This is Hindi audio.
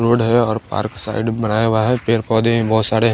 रोड है और पार्क साइड बनाया हुआ है पेर पौधे बहोत सारे--